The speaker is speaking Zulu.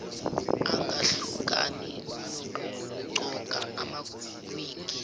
angahlukani nokugqoka amawigi